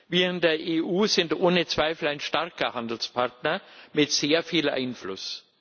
Wir in der EU sind ohne Zweifel ein starker Handelspartner mit sehr viel Einfluss.